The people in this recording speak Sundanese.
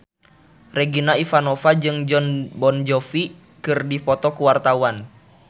Regina Ivanova jeung Jon Bon Jovi keur dipoto ku wartawan